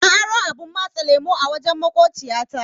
Na aro abun matsa lemu a wajen maƙociya ta.